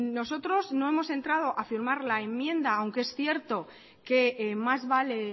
nosotros no hemos entrado a firmar la enmienda aunque es cierto que más vale